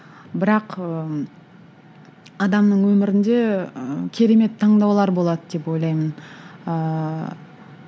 бірақ ыыы адамның өмірінде ы керемет таңдаулар болады деп ойлаймын ыыы